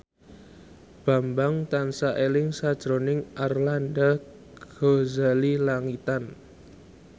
Bambang tansah eling sakjroning Arlanda Ghazali Langitan